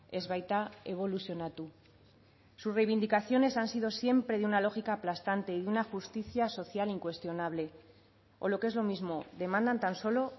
ez baita eboluzionatu sus reivindicaciones han sido siempre de una lógica aplastante y una justicia social incuestionable o lo que es lo mismo demandan tan solo